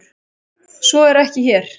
Svo er ekki hér.